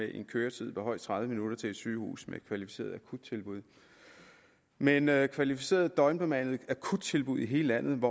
en køretid på højst tredive minutter til et sygehus med kvalificeret akuttilbud men at have kvalificerede døgnbemandede akuttilbud i hele landet